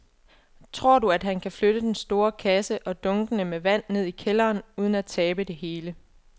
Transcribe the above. Tror du, at han kan flytte den store kasse og dunkene med vand ned i kælderen uden at tabe det hele?